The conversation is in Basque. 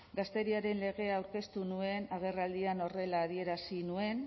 gazteriaren legea aurkeztu nuen agerraldian horrela adierazi nuen